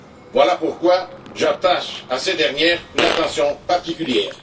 Voilà pourquoi j'attache à ces dernières une attention particulière.